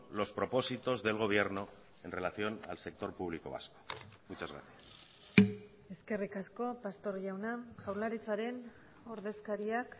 los propósitos del gobierno en relación al sector público vasco muchas gracias eskerrik asko pastor jauna jaurlaritzaren ordezkariak